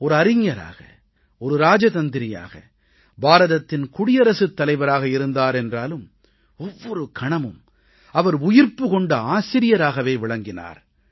ஒரு அறிஞராக ஒரு ராஜதந்திரியாக பாரதத்தின் குடியரசுத் தலைவராக இருந்தார் என்றாலும் ஒவ்வொரு கணமும் அவர் உயிர்ப்பு கொண்ட ஆசிரியராகவே விளங்கினார்